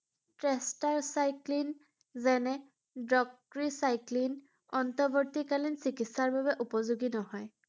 যেনে অন্তৱৰ্তীকালীন চিকিৎসাৰ বাবে উপযোগী নহয়৷